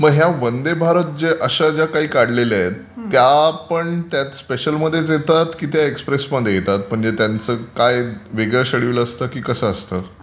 मग ह्या वंदे भारत अशा ज्या काही काढलेल्या आहेत त्या पण त्या स्पेशल मध्येच येतात की त्या एक्सप्रेसमध्ये येतात? म्हणजे त्यांचं काही वेगळं श्येड्यूल असते की कसे असते?